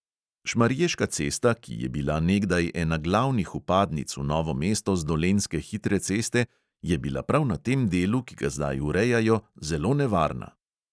Šmarješka cesta, ki je bila nekdaj ena glavnih vpadnic v novo mesto z dolenjske hitre ceste, je bila prav na tem delu, ki ga zdaj urejajo, zelo nevarna.